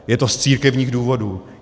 Je to z církevních důvodů.